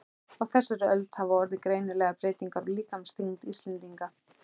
Á þessari öld hafa orðið greinilegar breytingar á líkamsþyngd Íslendinga.